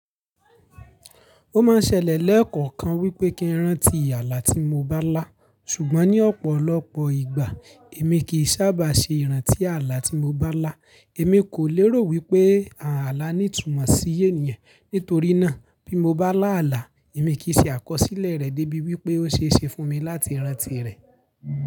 Ó máa ń ṣẹlẹ̀ lẹ́ẹ̀koọ̀kan wípé kí ń rántí àlà tí mo bá lá, ṣùgbọ́n ní ọ̀pọ̀lọpọ̀ ìgbà èmi kì í sábà ṣe ìrántí àlà tí mo bá lá. Èmi kò lérò wípé àlà ní ìtumọ̀ sí ènìyàn, nítorí náà bí mo bá lá àlà, èmi e kìi ṣe àkọsílẹ̀ rẹ̀ débi wípé ó ṣe é ṣe fún mi láti rántí rẹ̀